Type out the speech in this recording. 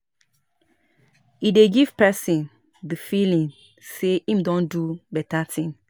If we give, e dey remove pipo from suffer and hardship